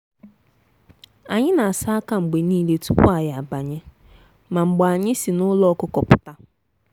anyị na-asa aka mgbe niile tupu anyị abanye ma mgbe anyị si n'ụlọ ọkụkọ pụta.